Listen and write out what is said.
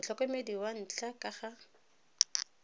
motlhokomedi wa ntlha ka ga